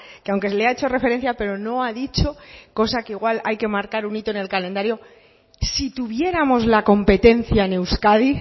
que aunque le ha hecho referencia pero no ha dicho cosa que igual hay que marcar un hito en el calendario si tuviéramos la competencia en euskadi